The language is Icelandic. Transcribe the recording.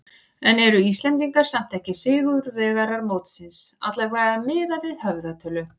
En eru Íslendingar samt ekki sigurvegarar mótsins, allavega miðað við höfðatölu?